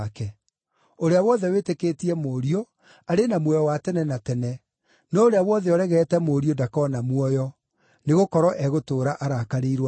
Ũrĩa wothe wĩtĩkĩtie Mũriũ, arĩ na muoyo wa tene na tene, no ũrĩa wothe ũregete Mũriũ ndakona muoyo, nĩgũkorwo egũtũũra arakarĩirwo nĩ Ngai.”